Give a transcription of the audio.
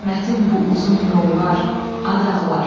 Qismətim bu uzun yollar, ad ağlar.